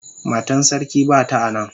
Matan sarki bata a nan.